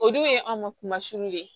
O dun ye an ka kuma kumasun ye